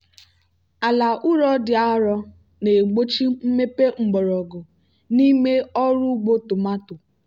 ala ụrọ dị arọ na-egbochi mmepe mgbọrọgwụ n'ime ọrụ ugbo tomato.